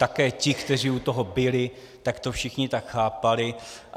Také ti, kteří u toho byli, tak to všichni tak chápali.